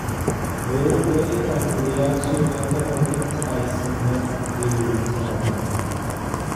Beeralayda waa in ay hubiyaan suuqa ka hor inta aysan maalgelin taranta.